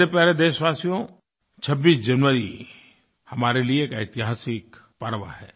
मेरे प्यारे देशवासियो 26 जनवरी हमारे लिए एक ऐतिहासिकपर्व है